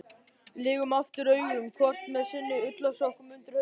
Lygnum aftur augunum, hvort með sinn ullarsokkinn undir hausnum.